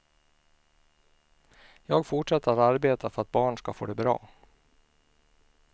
Jag fortsätter att arbeta för att barn ska få det bra.